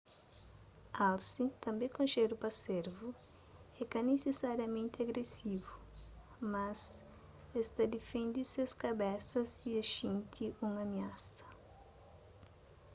alse tanbê konxedu pa servu é ka nisisariamenti agresivu mas es ta difende ses kabesa si es xinti un amiasa